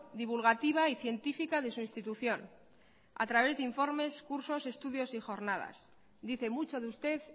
divulgativa y científica de su institución a través de informes cursos estudios y jornadas dice mucho de usted